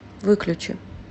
выключи